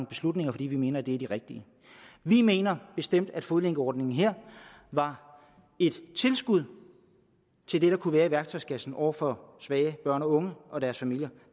beslutninger fordi vi mener at de er de rigtige vi mener bestemt at fodlænkeordningen var et tilskud til det der kunne være i værktøjskassen over for svage børn og unge og deres familier